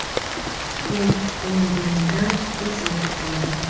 Men quvonganimdan tez yetib bordim.